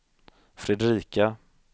Fredrika